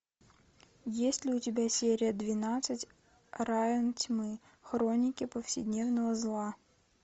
есть ли у тебя серия двенадцать район тьмы хроники повседневного зла